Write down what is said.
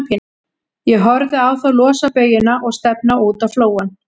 Ég horfði á þá losa baujuna og stefna út á flóann.